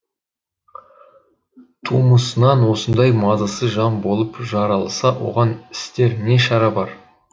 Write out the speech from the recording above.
тумысынан осындай мазасыз жан болып жаралса оған істер не шара бар